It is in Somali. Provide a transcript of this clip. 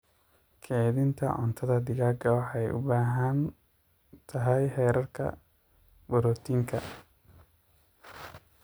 Keeydhinta cuntadhaa digaaga waxay u baahan tahay heerarka borotiinka.